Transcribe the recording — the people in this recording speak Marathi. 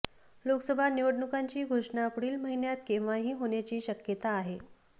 लोकसभा निवडणुकांची घोषणा पुढील महिन्यात केव्हाही होण्याची शक्यता आहे